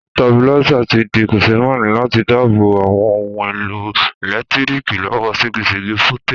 Stabilizer ti di kòsémaní láti dábò bo àwon oun èlò ẹ̀lẹ́ntíriki lọ́wọ́ ségesège voltage